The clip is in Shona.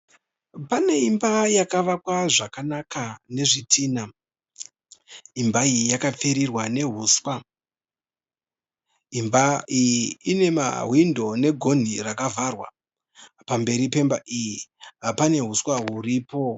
Pane imba yakavakwa zvakanaka nezvitina, imba iyi yakapfirirwa neuswa. Imba iyi ine mawhindo negonhi rakavharwa, pamberi pemba iyi pane uswa huripo.